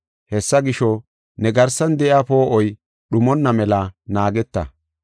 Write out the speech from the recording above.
Hessa gisho, ne garsan de7iya poo7oy dhumonna mela naageta.